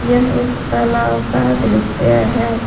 यह एक तालाब का दृश्य है।